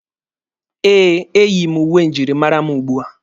Eh, eyi m uwe njirimara mụ ugbua.